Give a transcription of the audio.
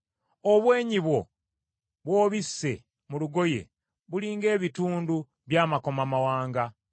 Obwenyi bwo bw’obisse mu lugoye, buli ng’ebitundu by’amakomamawanga.